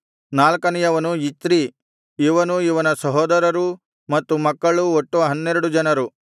ನಾಲ್ಕನೆಯವನು ಇಚ್ರೀ ಇವನೂ ಇವನ ಸಹೋದರರೂ ಮತ್ತು ಮಕ್ಕಳು ಒಟ್ಟು ಹನ್ನೆರಡು ಜನರು